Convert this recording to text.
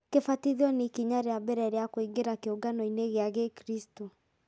Kũbatithio nĩ ikinya rĩa mbere rĩa kũingĩra kĩũngano-inĩ gĩa Gĩkristiano.